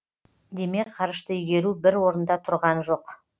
демек ғарышты игеру бір орында тұрған жоқ